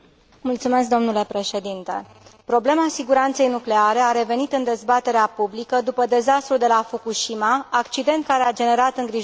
Problema siguranței nucleare a revenit în dezbaterea publică după dezastrul de la Fukushima, accident care a generat îngrijorări în statele Uniunii Europene.